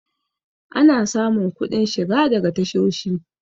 ana samun kuɗin shiga daga tashoshi